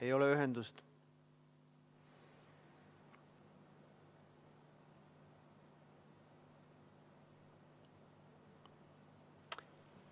Ei ole ühendust.